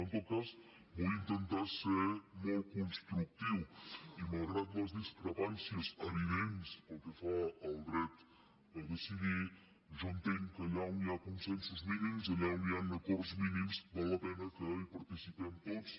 en tot cas vull intentar ser molt constructiu i malgrat les discrepàncies evidents pel que fa al dret a decidir jo entenc que allà on hi ha consensos mínims allà on hi han acords mínims val la pena que hi participem tots